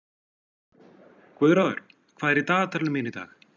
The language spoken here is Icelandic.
Guðráður, hvað er í dagatalinu mínu í dag?